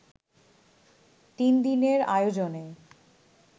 তিন দিনের আয়োজনে